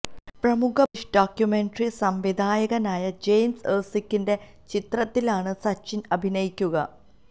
പ്രമുഖ British documentary സംവിധായകനായ James എര്സ്കിന്റെ ചിത്രത്തിലാണ് സച്ചിന് അഭിനയിക്കുക